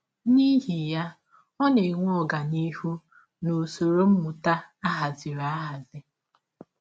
N’ihi ya, ọ na - enwe ọganihụ n’usọrọ mmụta a hazịrị ahazi.